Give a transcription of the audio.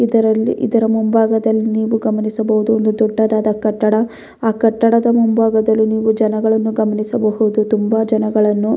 ಇದರಲ್ಲಿ ಇದರ ಮುಂಭಾಗದಲ್ಲಿ ನೀವು ಗಮನಿಸಬಹುದು ಇದು ಒಂದು ದೊಡ್ಡದಾದ ಕಟ್ಟಡ ಆ ಕಟ್ಟಡದ ಮುಂಭಾಗದಲ್ಲಿ ನೀವು ಜನಗಳನ್ನು ಗಮನಿಸಬಹುದು ತುಂಬಾ ಜನಗಳನ್ನು --